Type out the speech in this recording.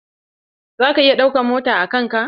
Zaka iya ɗauka mota a kan ka?